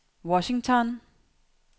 Washington